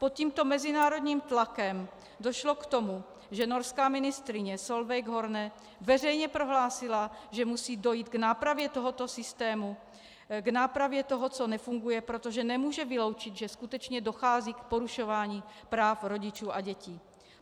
Pod tímto mezinárodním tlakem došlo k tomu, že norská ministryně Solveig Horne veřejně prohlásila, že musí dojít k nápravě tohoto systému, k nápravě toho, co nefunguje, protože nemůže vyloučit, že skutečně dochází k porušování práv rodičů a dětí.